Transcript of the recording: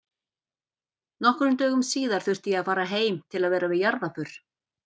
Nokkrum dögum síðar þurfti ég að fara heim til að vera við jarðarför.